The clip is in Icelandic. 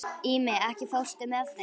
Ími, ekki fórstu með þeim?